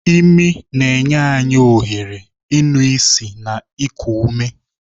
Imi na-enye anyị ohere ịnụ ísì na iku ume.